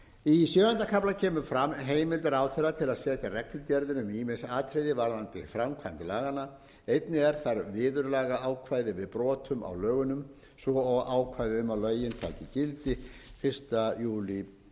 í sjöunda kafla kemur fram heimild ráðherra til að setja reglugerðir um ýmis atriði varðandi framkvæmd laganna einnig er þar viðurlagaákvæði við brotum á lögunum svo og ákvæði um að lögin taki gildi fyrsta júlí tvö